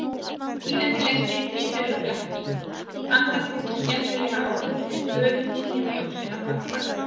Þetta tíðindaleysi hlyti að vera blekking, andartakið skelfilega áður en böðullinn léti öxina falla.